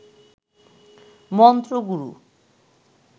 মন্ত্রগুরু